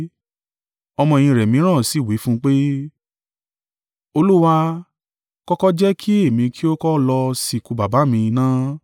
Ọmọ-ẹ̀yìn rẹ̀ mìíràn sì wí fún un pé, “Olúwa, kọ́kọ́ jẹ́ kí èmi kí ó kọ́ lọ sìnkú baba mi ná.”